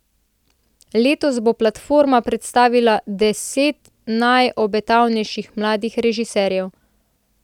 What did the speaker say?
Letos bo platforma predstavila deset najobetavnejših mladih režiserjev.